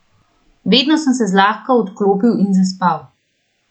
Vedno sem se zlahka odklopil in zaspal.